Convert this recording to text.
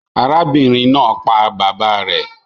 Arábìnrin naa pa bàbá rè